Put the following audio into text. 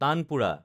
tanpura